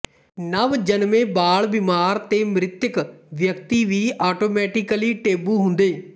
ਨਵ ਜਨਮੇ ਬਾਲ ਬੀਮਾਰ ਤੇ ਮ੍ਰਿਤਕ ਵਿਅਕਤੀ ਵੀ ਆਟੋਮੈਟੀਕਲੀ ਟੈਬੂ ਹੁੰਦੇ